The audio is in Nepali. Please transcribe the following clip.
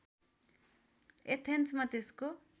एथेन्समा त्यसको